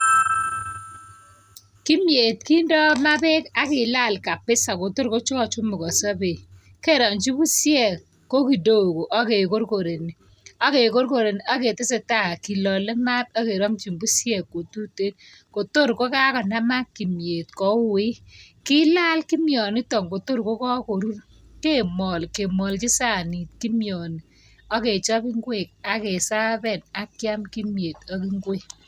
Kimyet kindoi maa bek ak kilal kabisa kotor kochumukonso bek. Kerongchi pusiek ko kidogo ak kekorkoreni aketesetai kilalei maat akkeramchin pusiek kotuten kotor kokakonamak kimyet kouit. Kilal kimyonitok kotir kokakorur kemol , kemolchi sanit kimyoni, akechop ingwek ak keservan ak kiam kimyet ak ingwek.